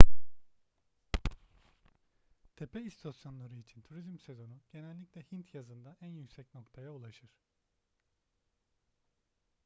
tepe istasyonları için turizm sezonu genellikle hint yazında en yüksek noktaya ulaşır